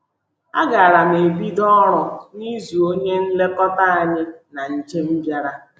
A gaara m ebido ọrụ n’izu onye nlekọta anyị na njem bịara.